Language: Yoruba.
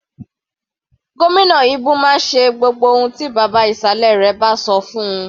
Gómìnà Ibu máa ń ṣe gbogbo ohun tí bàbá ìsàlẹ̀ rẹ̀ bá sọ fún-un.